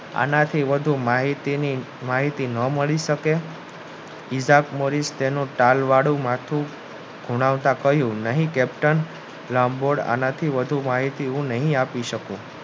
આનાથી વધુ માહિતી ન મળી શકે નહિ captain આનાથી વધુ માહિતી હું નહિ આપી શકું